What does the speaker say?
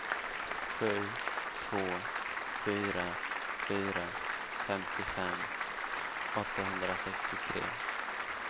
sju två fyra fyra femtiofem åttahundrasextiotre